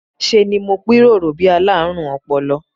Ṣe ni mo pirọrọ bí i alárùn ọpọlọ